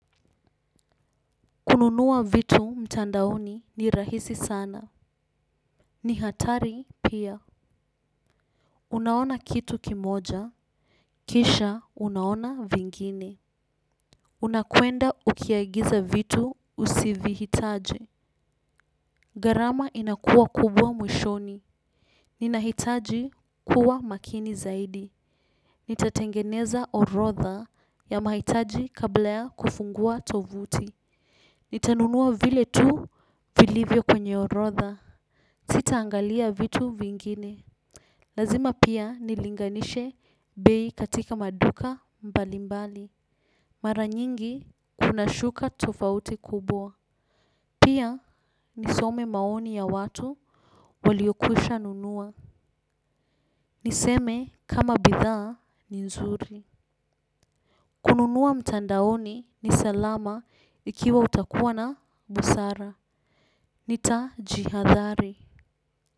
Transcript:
Kununua vitu mtandaoni ni rahisi sana. Ni hatari pia. Unaona kitu kimoja. Kisha unaona vingine. Unakwenda ukiagiza vitu usivi hitaji. Gharama inakuwa kubwa mwishoni. Ninahitaji kuwa makini zaidi. Nitatengeneza orotha ya mahitaji kabla ya kufungua tovuti. Nitanunua vile tu vilivyo kwenye orotha. Sita angalia vitu vingine. Lazima pia nilinganishe bei katika maduka mbalimbali. Maranyingi kuna shuka tofauti kubwa. Pia nisome maoni ya watu waliokwisha nunua. Niseme kama bidhaa ni nzuri. Kununua mtandaoni ni salama ikiwa utakuwa na busara. Nita jihadhari.